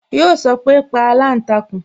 Yo sọpe "pa aláǹtakùn"